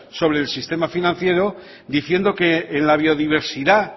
sobre el sistema financiero diciendo que en la biodiversidad